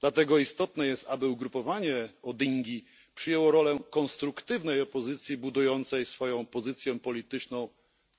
Dlatego istotne jest, aby ugrupowanie Odingi przyjęło rolę konstruktywnej opozycji budującej swoją pozycję polityczną